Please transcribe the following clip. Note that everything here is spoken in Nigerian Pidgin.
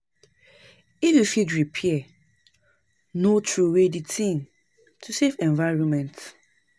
If you fit repair, no trowey di thing to save environment